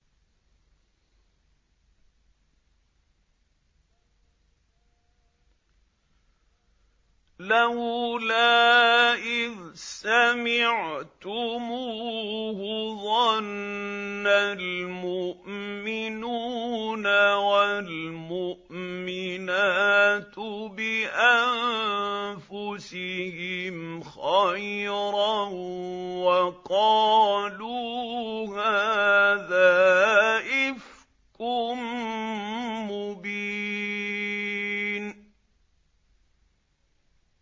لَّوْلَا إِذْ سَمِعْتُمُوهُ ظَنَّ الْمُؤْمِنُونَ وَالْمُؤْمِنَاتُ بِأَنفُسِهِمْ خَيْرًا وَقَالُوا هَٰذَا إِفْكٌ مُّبِينٌ